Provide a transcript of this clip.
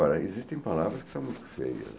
Agora, existem palavras que são muito feias.